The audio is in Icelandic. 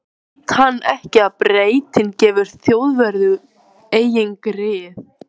Veit hann ekki að Bretinn gefur Þjóðverjum engin grið?